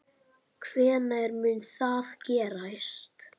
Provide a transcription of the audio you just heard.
Hvenær mun það gerast?